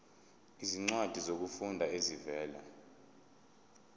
izincwadi zokufunda ezivela